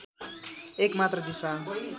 एक मात्र दिशा